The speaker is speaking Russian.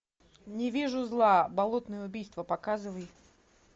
не вижу зла болотные убийства показывай